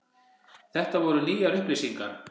Þetta voru nýjar upplýsingar.